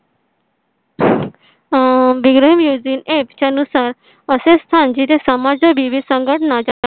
आह music app च्या नुसार असे स्थान जिथे समज विविध संघटना